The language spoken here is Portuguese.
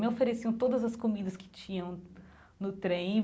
Me ofereciam todas as comidas que tinham no trem.